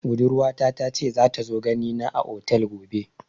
Budurwa ta ta ce za ta zo gani na a otel gobe